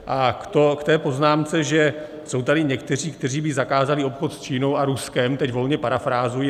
A k té poznámce, že jsou tady někteří, kteří by zakázali obchod s Čínou a Ruskem, teď volně parafrázuji.